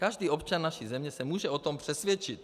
Každý občan naší země se může o tom přesvědčit.